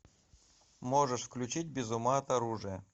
можешь включить без ума от оружия